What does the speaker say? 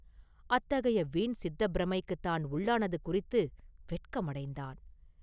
அத்தகைய வீண் சித்தப்பிரமைக்குத் தான் உள்ளானது குறித்து வெட்கமடைந்தான்.